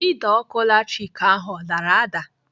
Ide ọkụ latrik ahụ ọ dara ada?